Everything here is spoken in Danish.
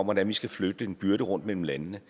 hvordan vi skal flytte en byrde rundt mellem landene